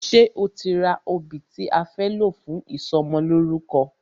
Ṣe o ti ra obì tí a fẹ́ lò fún ìsọmọlórúkọ?